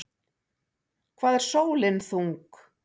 Hvað er sólin þung?